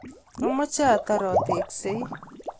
amache atar ateksei